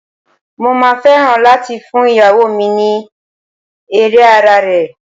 Mo máa fẹ́ràn láti fún ìyàwó mi ní Ere ara rẹ̀.